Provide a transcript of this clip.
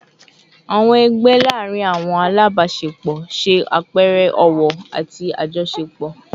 Awọn ẹgbẹ laarin awọn alabaṣepọ ṣe apẹẹrẹ ọwọ-ọwọ ati ajọṣepọ